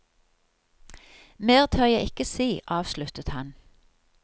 Mer tør jeg ikke si, avsluttet han.